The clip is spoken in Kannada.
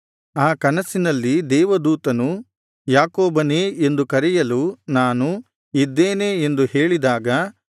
ಆ ಕನಸಿನಲ್ಲಿ ದೇವದೂತನು ಯಾಕೋಬನೇ ಎಂದು ಕರೆಯಲು ನಾನು ಇದ್ದೇನೆ ಎಂದು ಹೇಳಿದಾಗ